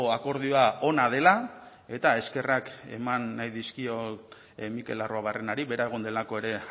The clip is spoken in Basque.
akordioa ona dela eta eskerrak eman nahi dizkiot mikel arruabarrenari bera egon delako ere